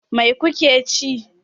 Mai kuke ci?